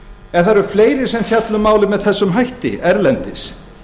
en það eru fleiri sem fjalla um málið með þessum hætti erlendis